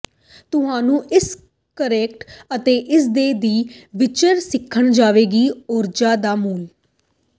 ਤੁਹਾਨੂੰ ਇਸ ਕਟੋਰੇ ਅਤੇ ਇਸ ਦੇ ਦੇ ਫੀਚਰ ਸਿੱਖਣ ਜਾਵੇਗਾ ਊਰਜਾ ਦਾ ਮੁੱਲ